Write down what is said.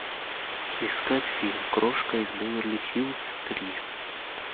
искать фильм крошка из беверли хиллз три